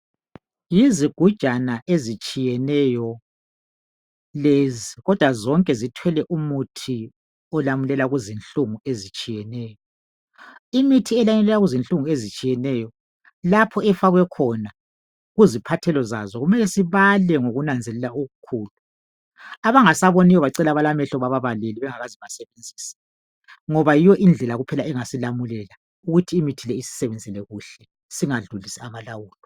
Yizigujana ezitshiyeneyo lezi kodwa zonke zithwele umuthi olamulela kuzinhlungu ezitshiyeneyo. Imithi elamulela kuzinhlungu ezitshiyeneyo . Lapho efakwe khona kuziphathelo zazo kumele sibale ngokunanzelela okukhulu .Abangasaboniyo bacele abalamehlo bababalele bengakaze basebenzise .Ngoba yiyo indlela kuphela engasilamulela ukuthi imithi le isisebenzele kuhle .Singadlulisi amalawulo.